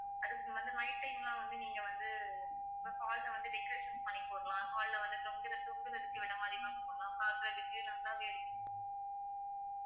அதுக்கு வந்து night time லாம் வந்து நீங்க வந்து உங்க hall அ வந்து decoration பண்ணி போடலாம் hall அ வந்து தொங்குற~ தொங்குறத்துக்கு விடமாரிலாம் பண்ணலாம் பாக்குறதுக்கு நல்லாவே இருக்கும்